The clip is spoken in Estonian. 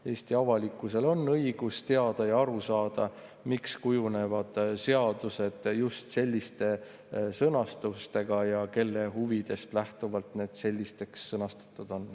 Eesti avalikkusel on õigus teada ja aru saada, miks kujunevad seadused välja just sellise sõnastusega ja kelle huvidest lähtuvalt need selliselt sõnastatud on.